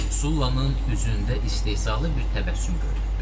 Sullanın üzündə istehzalı bir təbəssüm göründü.